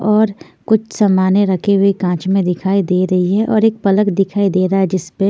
और कुछ समाने रखे हुए कांच में दिखाई दे रही है और एक पलंग दिखाई दे रहा है जिसपे --